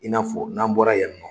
I n'a fɔ n'an bɔra yan nɔ